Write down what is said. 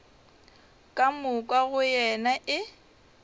ka moka go yena e